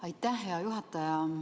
Aitäh, hea juhataja!